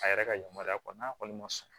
A yɛrɛ ka yamaruya kɔ n'a kɔni ma sɔn